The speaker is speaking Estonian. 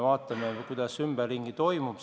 Vaatame, mis ümberringi toimub.